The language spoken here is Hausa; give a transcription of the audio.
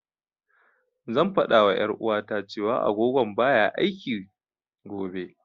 Zan fada wa ƴar'uwata, cewa agogon baya aiki, gobe.